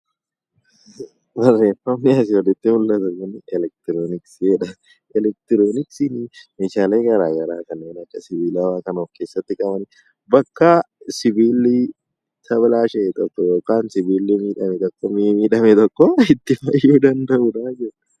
Elektirooniksiin meeshaalee garaagaraa kan akka sibiilaa kan of keessatti qabatedha. Bakka sibiilli miidhame tokko itti fayyuu danda'udha jechuudha.